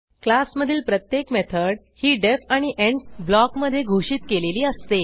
class मधील प्रत्येक method ही डीईएफ आणि एंड ब्लॉकमधे घोषित केलेली असते